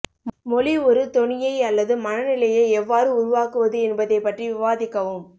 மொழி ஒரு தொனியை அல்லது மனநிலையை எவ்வாறு உருவாக்குவது என்பதைப் பற்றி விவாதிக்கவும்